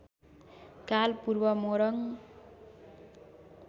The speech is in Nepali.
काल पूर्व मोरङ